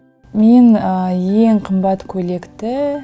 ең ең қымбат көйлекті